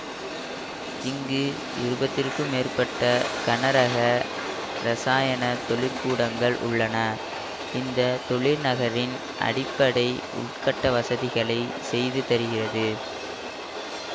இங்கு இப்பாத்திற்கும் மேற்பட்ட கனரக இரசாயன தொழிற்கூடங்கள் உள்ளன இந்த தொழிற் நகரின் அடிப்படை உள்கட்ட வசதிகளை செய்து தருகிறது